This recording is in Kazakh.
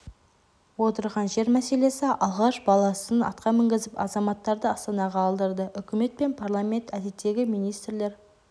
отырған жер мәселесі алаш баласын атқа мінгізіп азаматтарды астанаға алдырды үкімет пен парламент әдеттегі министрлер